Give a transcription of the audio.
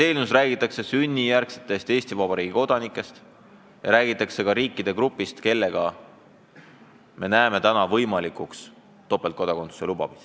Eelnõus räägitakse sünnijärgsetest Eesti Vabariigi kodanikest ja räägitakse ka riikide grupist, kelle puhul me peame võimalikuks topeltkodakondsuse lubamist.